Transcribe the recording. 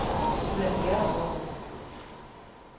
Ulla Bjerregaard